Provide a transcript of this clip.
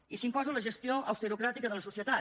i s’imposa la gestió austerocràtica de la societat